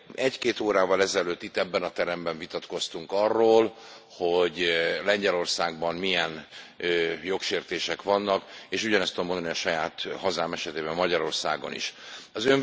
Egy két órával ezelőtt itt, ebben a teremben vitatkoztunk arról, hogy Lengyelországban milyen jogsértések vannak, és ugyanezt tudom mondani a saját hazám, Magyarország esetében is.